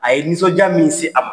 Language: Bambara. A ye nisɔndiya min se a ma